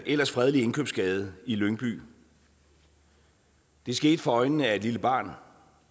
ellers fredelig indkøbsgade i lyngby det skete for øjnene af et lille barn